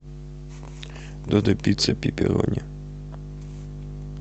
додо пицца пепперони